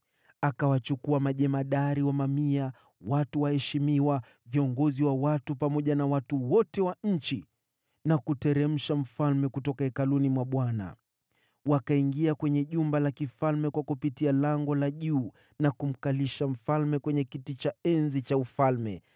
Akawachukua majemadari wa mamia, watu waheshimiwa, viongozi wa watu pamoja na watu wote wa nchi na kumteremsha mfalme kutoka Hekalu la Bwana . Wakaingia kwenye jumba la mfalme kupitia Lango la Juu na kumkalisha mfalme kwenye kiti cha enzi,